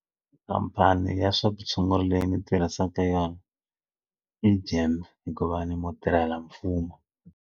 Khampani ya swa vutshunguri leyi ndzi tirhisaka yona i Gem hikuva ni mutirhelamfumo.